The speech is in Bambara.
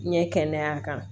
N ɲɛ kɛnɛya kan